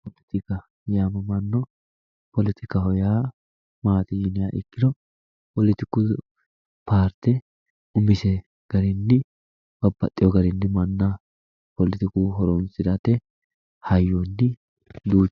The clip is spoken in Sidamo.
Poletikka yamamano ,poletikkaho yaa maati yinniha ikkiro poletiku paarte umise garinni babbaxxewo garinni manna poletiku horonsirate hayyoni duuchu.